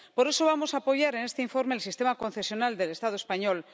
Por eso vamos a apoyar en este informe el sistema concesional del Estado español.